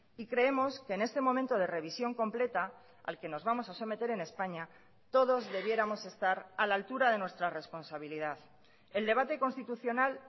y creemos que en este momento de revisión completa al que nos vamos a someter en españa todos debiéramos estar a la altura de nuestra responsabilidad el debate constitucional